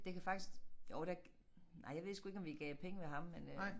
Det kan faktisk jo der nej jeg ved sgu ikke om vi gav penge ved ham men øh